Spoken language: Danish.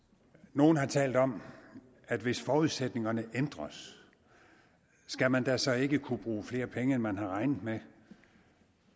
nogle har talt om at hvis forudsætningerne ændres skal man da så ikke kunne bruge flere penge end man havde regnet med